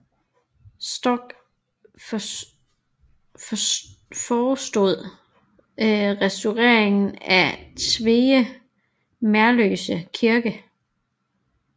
Storck forestod restaureringen af Tveje Merløse Kirke